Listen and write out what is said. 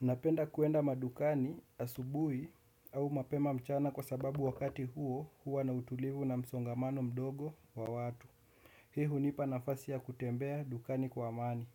Napenda kuenda madukani asubuhi au mapema mchana kwa sababu wakati huo huwa na utulivu na msongamano mdogo wa watu. Hii hunipa nafasi ya kutembea dukani kwa amani,